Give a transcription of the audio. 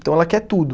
Então ela quer tudo.